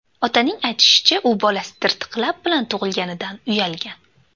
Otaning aytishicha, u bolasi tirtiq lab bilan tug‘ilganidan uyalgan.